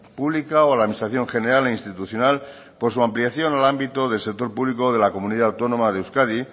pública o a la administración general e institucional por su ampliación al ámbito del sector público de la comunidad autónoma de euskadi